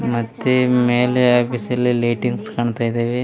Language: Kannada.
ಮತ್ತೆ ಮೇಲೆ ಆ ಬಿಸಿಲಲ್ಲಿ ಲೈಟಿಂಗ್ಸ್ ಕಾಣ್ತಾ ಇದ್ದವೇ.